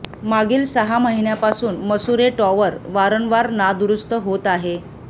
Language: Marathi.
मागील सहा महिन्या पासून मसुरे टॉवर वारंवार नादुरुस्त होत आहे